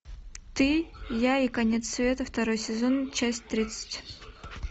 ты я и конец света второй сезон часть тридцать